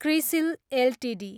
CRISIL Ltd